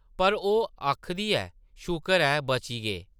पर ओह् आखदी ऐ– शुकर ऐ बची गे ।